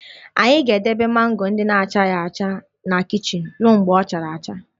Anyị ga-edebe mango ndị na-achaghị acha na kichin ruo mgbe ọ chara acha